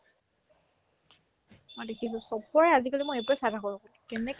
মই দেখিছো চব্বৰে আজিকালি মই সেইটোয়ে চাই থাকো কেনেকে